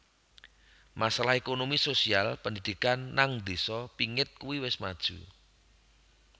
Masalah Ekonomi sosial pendidikan nang desa pingit kue wis maju